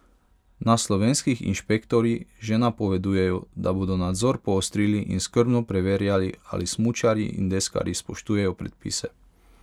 Na slovenskih inšpektorji že napovedujejo, da bodo nadzor poostrili in skrbno preverjali, ali smučarji in deskarji spoštujejo predpise.